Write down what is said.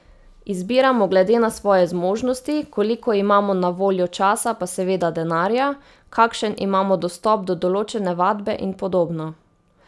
Izbiramo glede na svoje zmožnosti, koliko imamo na voljo časa pa seveda denarja, kakšen imamo dostop do določene vadbe in podobno.